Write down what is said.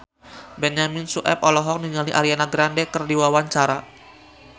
Benyamin Sueb olohok ningali Ariana Grande keur diwawancara